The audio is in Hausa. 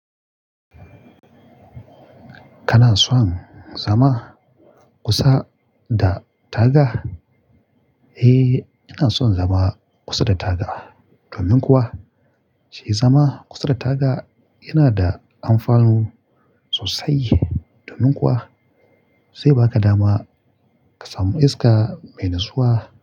Kana son zama kusa da taga? Eh, ina son zama kusa da taga. Domin kuwa, shi zama kusa da taga yana da amfanu sosai. Domin kuwa, sai ba ka dama ka samu iska mai natsuwa.